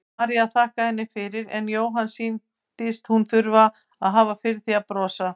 María þakkaði henni fyrir en Jóhanni sýndist hún þurfa að hafa fyrir því að brosa.